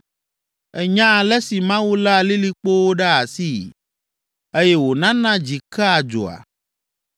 Ènya ale si Mawu léa lilikpowo ɖe asii, eye wònana dzi kea dzoa?